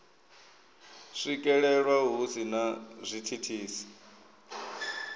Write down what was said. swikelelwa hu si na zwithithisi